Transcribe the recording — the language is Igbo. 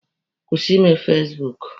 Kwụsị ime fasibuuku!